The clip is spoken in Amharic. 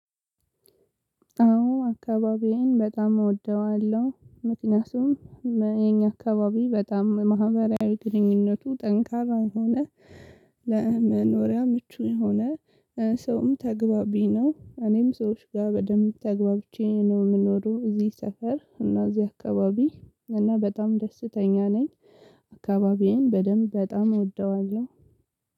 አዎ አካባቢዬን በጣም እወደዋለሁ ምክንያቱም የኛ አካባቢ በጣም ማህበራዊ ግንኙነቱ ጠንካራ የሆነ ለመኖሪያ ምቹ የሆነ ሰውም ተግባቢ ነው። እኔም ሰዎች ጋር በደንብ ተግባብቼ ነው የምኖረው እዚህ ሰፈር እና እና እዚህ አካባቢ እና በጣም ደስተኛ ነኝ። አካባቢዬን በደንብ በጣም እወደዋለሁ።